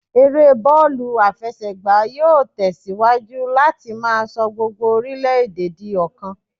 Eré bọ́ọ̀lù àfẹsẹ̀gbá yóò tẹ̀ síwájú láti máa sọ gbogbo orile-ede di ọ̀kan